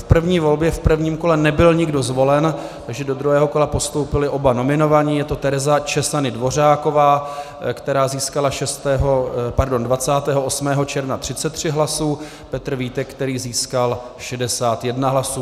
V první volbě v prvním kole nebyl nikdo zvolen, takže do druhého kola postoupili oba nominovaní, je to Tereza Czesany Dvořáková, která získala 28. června 33 hlasů, Petr Vítek, který získal 61 hlasů.